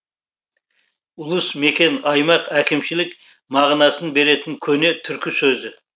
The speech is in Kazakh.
ұлыс мекен аймақ әкімшілік мағынасын беретін көне түркі сөзі